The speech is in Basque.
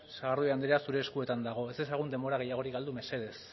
sagardui andrea zure eskuetan dago ez dezagun denbora gehiagorik galdu mesedez